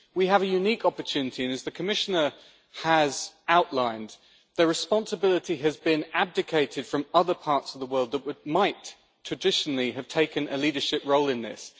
We have a unique opportunity and, as the Commissioner has outlined, the responsibility has been abdicated from other parts of the world that might traditionally have taken a leadership role in this.